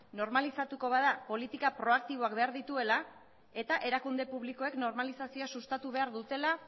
normalizatuko bada politika proaktiboak behar dituela eta erakunde publikoek normalizazioa sustatu behar dutela